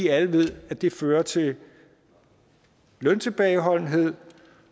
alle ved at det fører til løntilbageholdenhed